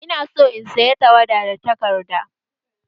Ina son in saya tawada da takarda